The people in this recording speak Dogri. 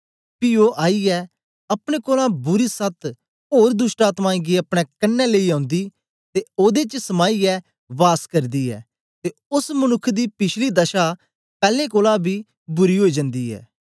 पी ओ आईयै अपने कोलां बुरी सत ओर दोष्टआत्मायें गी अपने कन्ने लेई ओंदी ते ओदे च समाईयै वास करदी ऐ ते ओस मनुक्ख दी पिछली दशा पैलैं कोलां बी बुरी ओई जन्दी ऐ